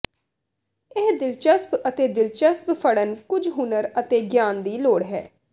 ਇਹ ਦਿਲਚਸਪ ਅਤੇ ਦਿਲਚਸਪ ਫੜਨ ਕੁਝ ਹੁਨਰ ਅਤੇ ਗਿਆਨ ਦੀ ਲੋੜ ਹੈ